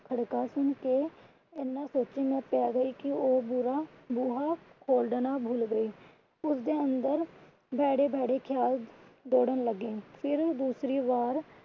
ਖੜਕਾ ਸੁਨ ਕੇ ਇੰਨਾ ਸੋਚਾਂ ਚ ਪੈ ਗਈ ਕਿ ਉਹ ਬੂਹਾ ਖੋਲਣਾ ਭੁੱਲ ਗਈ। ਉਸਦੇ ਅੰਦਰ ਭੈੜੇ ਭੈੜੇ ਖਿਆਲ ਦੌੜਣ ਲੱਗੇ। ਫਿਰ ਦੂਸਰੀ ਵਾਰ